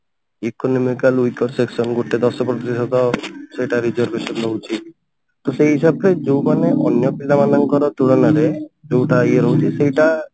economical weaker section ଗୋଟେ ଦଶ ପ୍ରତିଶତ ସେଟା reservation ରହୁଛି ତ ସେଇ ହିସାବରେ ଯାଉମାନେ ଅନ୍ୟ ପିଲା ମାନଙ୍କର ତୁଳନାରେ ଯଉଟା ଇଏ ରହୁଛି ସେଇଟା